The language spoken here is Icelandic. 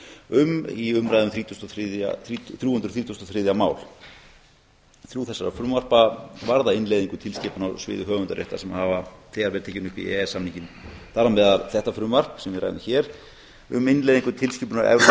um í umræðu um þrjú hundruð þrítugasta og þriðja mál þrjú þessara frumvarpa varða innleiðingu tilskipunar á sviði höfundaréttar sem hafa þegar verið tekin upp í e e s samninginn þar á meðal þetta frumvarp sem við ræðum hér um innleiðingu tilskipunar evrópuþingsins